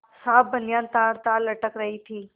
साफ बनियान तारतार लटक रही थी